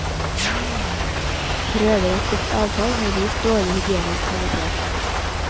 Prøver av slikt avfall har vist dårlig hygienisk kvalitet.